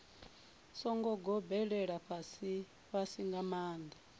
songo gobelela fhasifhasi nga maanḓa